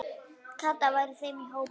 Kata var í þeim hópi.